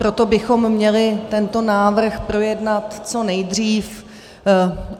- proto bychom měli tento návrh projednat co nejdřív.